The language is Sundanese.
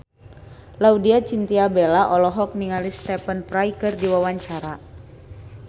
Laudya Chintya Bella olohok ningali Stephen Fry keur diwawancara